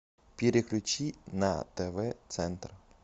переключи на тв центр